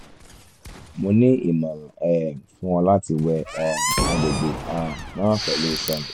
mo ni imọran um fun ọ lati wẹ um agbegbe um naa pẹlu sọnu